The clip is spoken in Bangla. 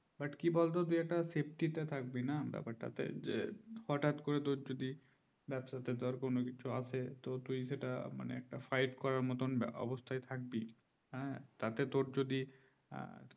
but কি বলতো তুই একটা safety থাকবি না ব্যাপার তাতে হটাৎ করে তো যদি ব্যবসাতে কোনো কিছু আসে তুই সেটা fight করার মতো অবস্থা থাকবি হ্যাঁ তাতে তো যদি